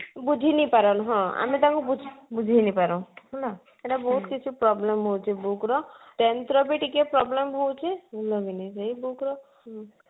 ବୁଝି ନେଇ ପାରନ ହଁ ଆମେ ତାଙ୍କୁ ବୁଝେଇ ବୁଝେଇ ନେଇ ପାର ହେଲା ସେଇଟା ବହୁତ କିଛି problem ହଉଛି book ର tenth ର ବି ଟିକେ problem ହଉଛି ଏଇ book ର